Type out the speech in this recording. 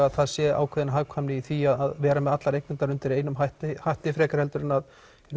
að það sé ákveðin hagkvæmni í því að vera með allar eignirnar undir einum hatti hatti frekar en að